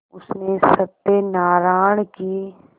उसने सत्यनाराण की